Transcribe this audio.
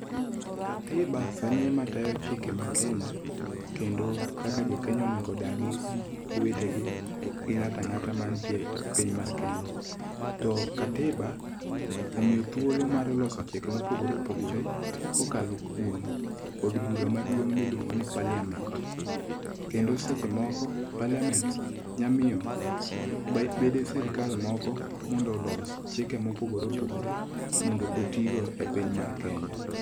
Katiba sani e ma tayo chike ma Kenya. Kendo kaka jo Kenya onego dagi gi owetegi gi ng'ata ang'ata mantie e pinya mar Kenya. To katiba omiyo thuolo mar loso chike mopogore opogore kokalo kuom od bura maduong' miluongo ni Parliament. Kendo seche moko Parliament nya miyo bede sirkal moko mondo olos chike mopogore opogore mondo oti go e piny mar Kenya.